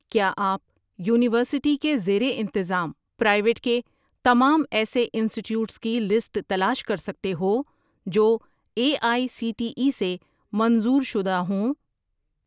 کیا آپ یونیورسٹی کے زیر انتظام پرائیویٹ کے تمام ایسے انسٹیٹیوٹس کی لسٹ تلاش کر سکتے ہو جو A I C T E سے منظور شدہ ہوں؟